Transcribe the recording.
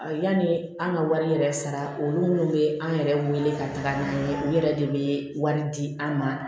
Yanni an ka wari yɛrɛ sara olu minnu bɛ an yɛrɛ wele ka taga n'u ye u yɛrɛ de bɛ wari di an ma